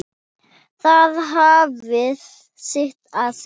Það hafði sitt að segja.